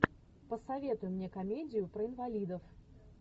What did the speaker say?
посоветуй мне комедию про инвалидов